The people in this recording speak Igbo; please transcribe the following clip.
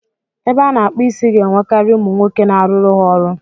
Ebe a na-akpụ isi ga-enwekari umu nwoke n'aruru ha ọrụ.